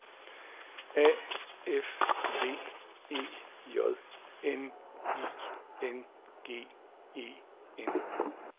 A F V E J N I N G E N